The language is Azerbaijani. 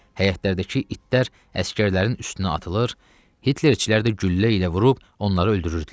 Həyətlərdəki itlər əsgərlərin üstünə atılır, Hitlerçilər də güllə ilə vurub onları öldürürdülər.